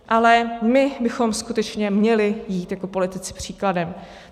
Ale my bychom skutečně měli jít jako politici příkladem.